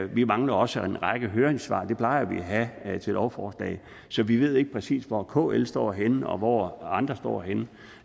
vi mangler også en række høringssvar det plejer vi at have til lovforslag så vi ved ikke præcis hvor kl står henne og hvor andre står henne